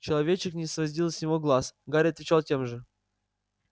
человечек не сводил с него глаз гарри отвечал тем же